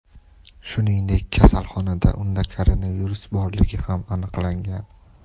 Shuningdek, kasalxonada unda koronavirus borligi ham aniqlangan.